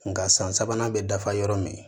Nka san sabanan bɛ dafa yɔrɔ min